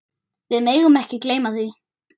Við megum ekki gleyma því.